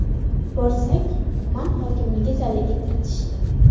Borsak, tuman hokimligi zaliga kiritishdi.